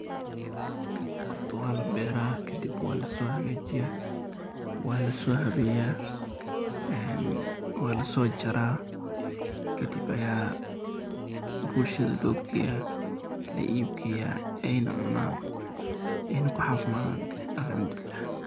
Horta wa la bera kadib wa laaso hagajiiya, wa laso haabeya en wa laso jaara kadib ayaa bulshada lo geeya, la iib geeya ayna cunaan, ayna ku cafimaadan alxamdulillah.